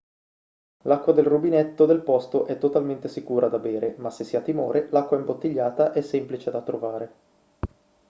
l'acqua del rubinetto del posto è totalmente sicura da bere ma se si ha timore l'acqua imbottigliata è semplice da trovare